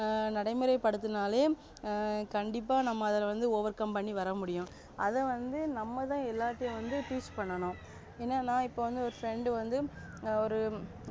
ஆஹ் நடைமுறை படுத்தினாலே ஆஹ் கண்டிப்பா நம்ம அதுல வந்து overcome பண்ணி வரமுடியும் அத வந்து நம்மதா எல்லார்ட்டயும் வந்து teach பண்ணனும் என்னனா இப்ப ஒரு friend வந்து ஒரு